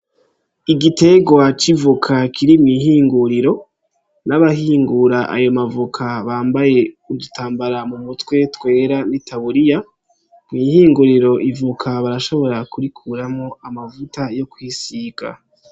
Igiterwa c'ivoka kiri mw'ihinguriro, n'abahingura ayo mavoka bambaye udutambara mu mutwe twera n'i taburiya, mw'ihinguriro ivoka barashobora kurikuramwo amavuta yo kwisiga.